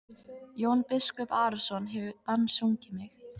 Jón biskup Arason hefur bannsungið mig.